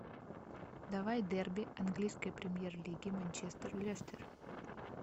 давай дерби английской премьер лиги манчестер лестер